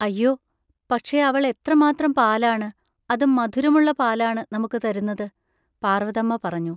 അയ്യോ, പക്ഷെ അവൾ എത്രമാത്രം പാലാണ്, അതും മധുരമുള്ള പാലാണ്, നമുക്ക് തരുന്നത്! പാർവ്വതമ്മ പറഞ്ഞു.